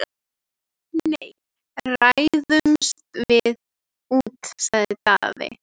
Nei, ræðumst við úti, sagði Daði.